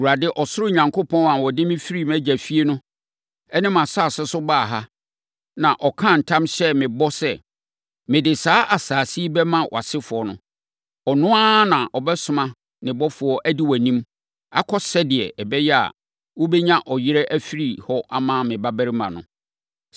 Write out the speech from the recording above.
Awurade, ɔsoro Onyankopɔn a ɔde me firi mʼagya fie ne mʼasase so baa ha, na ɔkaa ntam hyɛɛ me bɔ sɛ, ‘Mede saa asase yi bɛma wʼasefoɔ no.’ Ɔno ara na ɔbɛsoma ne ɔbɔfoɔ adi wʼanim akɔ sɛdeɛ ɛbɛyɛ a, wobɛnya ɔyere afiri hɔ ama me babarima no.